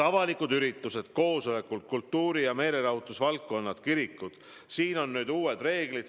Avalikud üritused, koosolekud, kultuuri- ja meelelahutusüritused, kirikud – seal on nüüd uued reeglid.